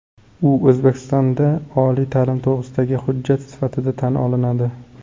U O‘zbekistonda oliy ta’lim to‘g‘risidagi hujjat sifatida tan olinadi.